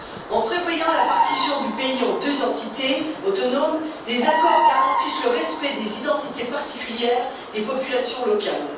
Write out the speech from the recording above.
En prévoyant la partition du pays en deux entités autonomes, les accords garantissent le respect des identités particulières des populations locales.